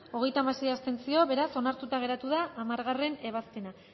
contra hogeita hamasei abstentzio beraz onartuta geratu da hamargarrena ebazpena